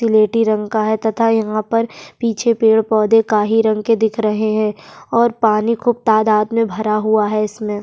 सिलेटी रंग का है तथा यहाँ पर पीछे पेड़-पौधे काही रंग के दिख रहे हैं और पानी खूब तादाद में भरा हुआ है इसमें --